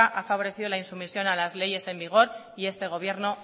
ha favorecido la insumisión a las leyes en vigor y este gobierno